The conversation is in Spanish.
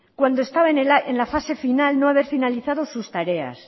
cuando estaba en la fase final no haber finalizado sus tareas